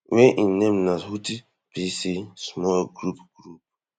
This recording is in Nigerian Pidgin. wey im name na houthi pc small group group